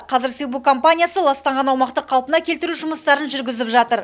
қазір сибу компаниясы ластанған аумақты қалпына келтіру жұмыстарын жүргізіп жатыр